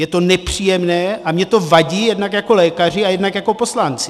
Je to nepříjemné a mně to vadí jednak jako lékaři a jednak jako poslanci.